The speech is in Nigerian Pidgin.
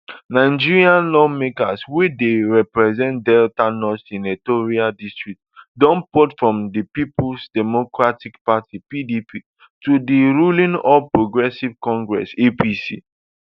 nigerian lawmaker wey dey represent delta north senatorial district don port from di peoples democratic party pdp to di ruling all progressives congress apc